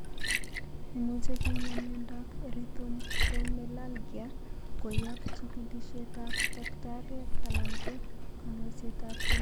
Imuche kinyaa miondap Erythromelalgia koyap chigilisietap tagitariek alan ko konyoisetap keny